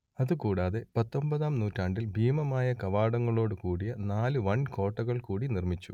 അത് കൂടാതെ പത്തൊമ്പതാം നൂറ്റാണ്ടിൽ ഭീമമായ കവാടങ്ങളോട് കൂടിയ നാല് വൻ കോട്ടകൾ കൂടി നിർമിച്ചു